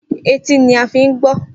Etí ni a fi ń gbọ́